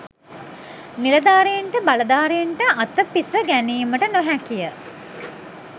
නිලධාරීන්ට බලධාරීන්ට අතපිස ගැනීමට නොහැකිය.